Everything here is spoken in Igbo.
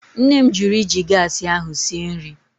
Nne m jụrụ iji gaasị ahụ sie nri.